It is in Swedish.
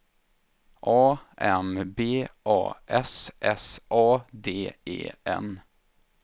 A M B A S S A D E N